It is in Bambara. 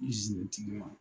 tigi ma.